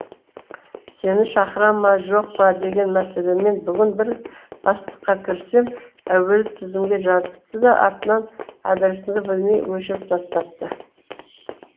сені шақыра ма жоқ па деген мәселемен бүгін бір бастыққа кірсем әуелі тізімге жазыпты да артынан әдірісіңді білмей өшіріп тастапты